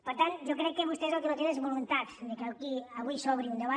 per tant jo crec que vostès el que no tenen és voluntat que aquí avui s’obri un debat